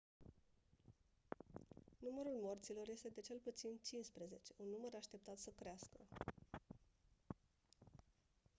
numărul morților este de cel puțin 15 un număr așteaptat să crească